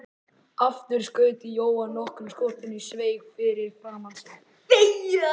Aftur skaut Jóhann nokkrum skotum í sveig fyrir framan sig.